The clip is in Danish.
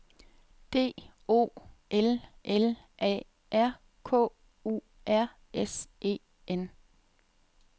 D O L L A R K U R S E N